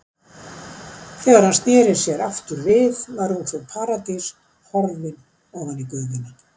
Þegar hann sneri sér aftur við var ungfrú Paradís horfin ofan í gufuna.